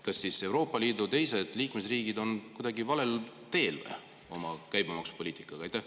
Kas siis Euroopa Liidu teised liikmesriigid on kuidagi valel teel oma käibemaksupoliitikaga?